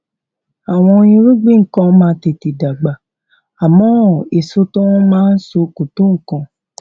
àwọn irúgbìn kan máa tètè dàgbà àmó èso tí wón máa so kò tó nǹkan